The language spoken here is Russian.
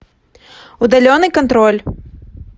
удаленный контроль